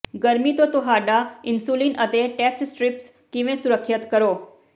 ਗਰਮੀ ਤੋਂ ਤੁਹਾਡਾ ਇਨਸੁਲਿਨ ਅਤੇ ਟੈਸਟ ਸਟ੍ਰੀਪਸ ਕਿਵੇਂ ਸੁਰੱਖਿਅਤ ਕਰੋ